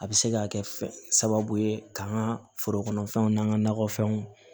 A bɛ se ka kɛ fɛ sababu ye ka an ka forokɔnɔfɛnw n'an ka nakɔfɛnw